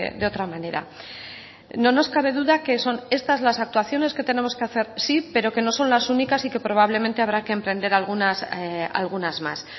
de otra manera no nos cabe duda que son estas las actuaciones que tenemos que hacer sí pero que no son las únicas y que probablemente habrá que emprender algunas más